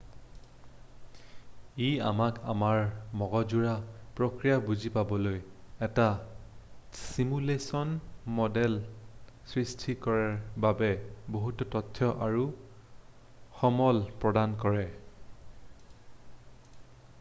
ই আমাক আমাৰ মগজুৰ প্ৰক্ৰিয়া বুজি পাবলৈ এটা ছিমুলেশ্যন মডেল সৃষ্টি কৰাৰ বাবে বহুতো তথ্য আৰু সমল প্ৰদান কৰে